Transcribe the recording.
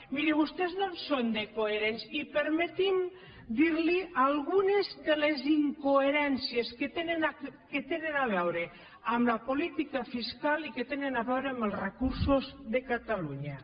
miri vostès no en són de coherents i permeti’m dirli algunes de les incoherències que tenen a veure amb la política fiscal i que tenen a veure amb els recursos de catalunya